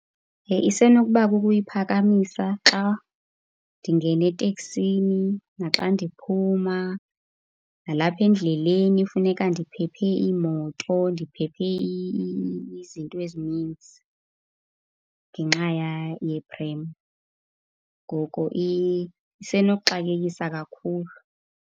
isenokuba kukuyiphakamisa xa ndingena eteksini naxa ndiphuma. Nalapha endleleni kufuneka ndiphephe iimoto, ndiphephe izinto ezininzi ngenxa yeprem. Ngoko isenokuxakekisa kakhulu.